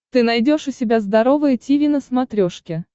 ты найдешь у себя здоровое тиви на смотрешке